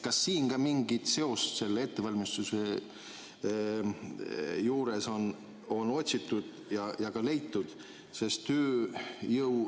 Kas ettevalmistuse juures on siin mingit seost otsitud ja ka leitud?